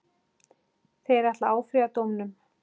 Þeir ætla að áfrýja dómnum.